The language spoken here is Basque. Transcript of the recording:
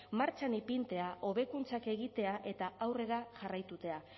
martxan ipintzea hobekuntzak egitea eta aurrera jarraitutea